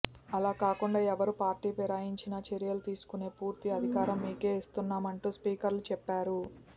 అలా కాకుండా ఎవరు పార్టీ ఫిరాయించినా చర్యలు తీసుకునే పూర్తి అధికారం మీకే ఇస్తున్నామంటూ స్పీకర్కు చెప్పారు